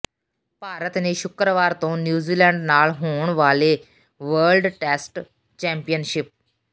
ਭਾਰਤ ਨੇ ਸ਼ੁੱਕਰਵਾਰ ਤੋਂ ਨਿਊਜ਼ੀਲੈਂਡ ਨਾਲ ਹੋਣ ਵਾਲੇ ਵਰਲਡ ਟੈਸਟ ਚੈਂਪੀਅਨਸ਼ਿਪ